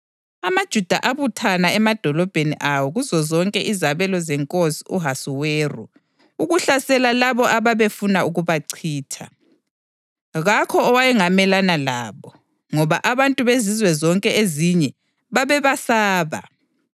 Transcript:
AmaJuda abuthana emadolobheni awo kuzozonke izabelo zeNkosi u-Ahasuweru ukuhlasela labo ababefuna ukubachitha. Kakho owayengamelana labo, ngoba abantu bezizwe zonke ezinye babebesaba.